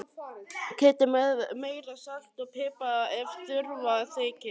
Kryddið með meira salti og pipar ef þurfa þykir.